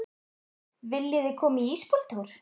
Viljiði koma með í ísbíltúr?